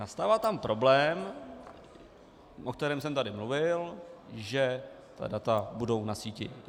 Nastává tam problém, o kterém jsem tady mluvil, že ta data budou na síti.